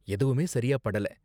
எதுவுமே சரியா படல.